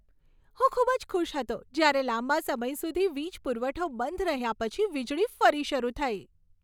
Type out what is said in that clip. હું ખૂબ જ ખુશ હતો જ્યારે લાંબા સમય સુધી વીજ પુરવઠો બંધ રહ્યા પછી વીજળી ફરી શરૂ થઈ.